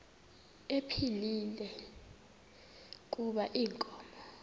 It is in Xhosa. ephilile kuba inkomo